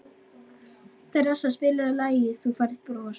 Teresa, spilaðu lagið „Þú Færð Bros“.